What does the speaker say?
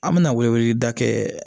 An bɛna wele weleda kɛ